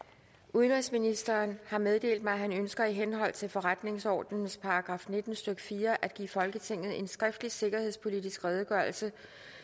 udenrigsministeren har meddelt mig at han ønsker i henhold til forretningsordenens § nitten stykke fire at give folketinget en skriftlig sikkerhedspolitisk redegørelse